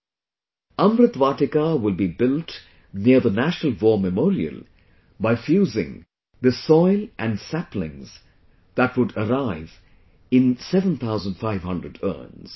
'Amrit Vatika' will be built near the National War Memorial by fusing the soil and saplings that would arrive in 7500 urns